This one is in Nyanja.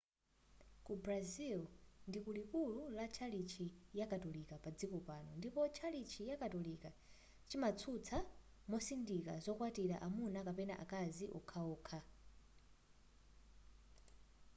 ku brazil ndiku likuli la tchalitchi ya katolika padziko pano ndipo tchalitchi chakatolika chimatsutsa mosindika zokwatilana amuna kapena akazi wokhawokha